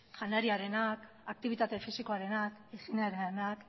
janariarenak aktibitate fisikoarenak higienearenak